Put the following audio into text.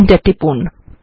enter টিপুন